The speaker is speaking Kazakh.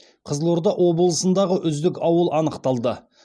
қызылорда облысындағы үздік ауыл анықталды